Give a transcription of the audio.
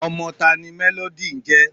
ọmọ taani Melody ńje?